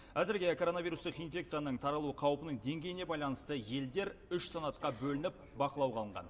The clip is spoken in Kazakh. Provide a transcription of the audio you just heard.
әзірге коронавирустық инфекцияның таралу қаупінің деңгейіне байланысты елдер үш санатқа бөлініп бақылауға алынған